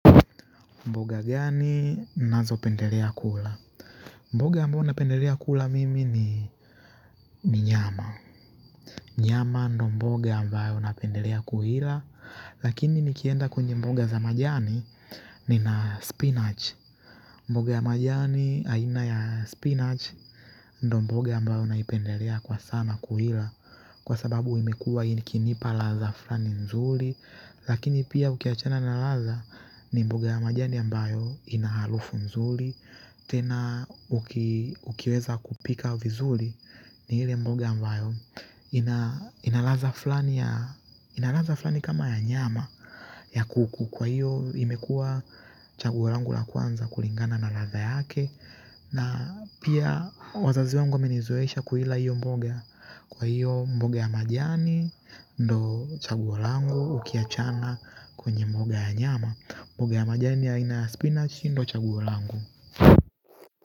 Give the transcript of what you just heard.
Mboga gani nazopendelea kula mboga ambayo napendelea kula mimi ni nyama nyama ndo mboga ambayo napendelea kuila lakini nikienda kwenye mboga za majani nina spinach mboga ya majani aina ya spinach ndo mboga ambayo naipendelea kwa sana kuila kwa sababu imekuwa ikinipa ladha fulani nzuri lakini pia ukiachana na ladha ni mboga ya majani ambayo ina harufu nzuri tena ukiweza kuipika vizuri ni ile mboga ambayo ina ina ladha fulani kama ya nyama ya kuku kwa hiyo imekuwa chaguo langu la kwanza kulingana na ladha yake na pia wazazi wangu wamenizoesha kuila hiyo mboga kwa hiyo mboga ya majani ndo chaguo langu ukiachana kwenye mboga ya nyama mboga ya majani aina ya spinach hii ndo chaguo langu.